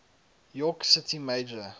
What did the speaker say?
york city mayor